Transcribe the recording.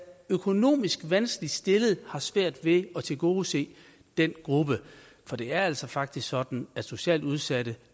økonomisk vanskeligt stillede har svært ved at tilgodese den gruppe for det er altså faktisk sådan at socialt udsatte